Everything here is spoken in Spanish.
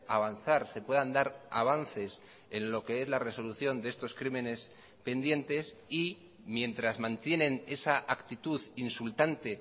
avanzar se puedan dar avances en lo que es la resolución de estos crímenes pendientes y mientras mantienen esa actitud insultante